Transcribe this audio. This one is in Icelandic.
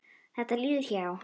Þetta líður hjá.